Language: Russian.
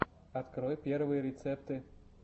открой первые рецепты